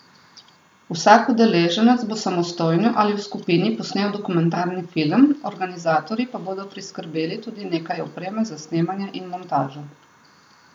Vsak udeleženec bo samostojno ali v skupini posnel dokumentarni film, organizatorji pa bodo priskrbeli tudi nekaj opreme za snemanje in montažo.